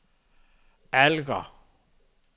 Alger